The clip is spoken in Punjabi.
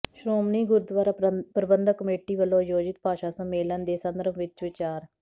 ਸ਼੍ਰੋਮਣੀ ਗੁਰਦੁਵਾਰਾ ਪ੍ਰਬੰਧਕ ਕਮੇਟੀ ਵਲੋਂ ਆਯੋਜਿਤ ਭਾਸ਼ਾ ਸੰਮੇਲਨ ਦੇ ਸੰਦਰਭ ਵਿੱਚ ਵਿਚਾਰ